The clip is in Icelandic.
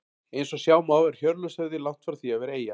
Eins og sjá má er Hjörleifshöfði langt frá því að vera eyja.